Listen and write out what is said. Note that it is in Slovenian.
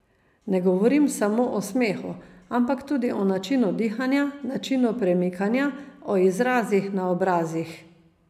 Ne govorim samo o smehu, ampak tudi o načinu dihanja, načinu premikanja, o izrazih na obrazih.